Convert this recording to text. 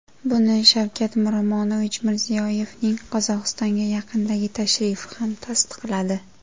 Buni Shavkat Miromonovich Mirziyoyevning Qozog‘istonga yaqindagi tashrifi ham tasdiqladi.